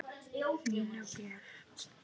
Nína Björk.